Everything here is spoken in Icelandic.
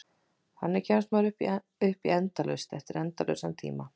Þannig kemst maður upp í endalaust eftir endalausan tíma.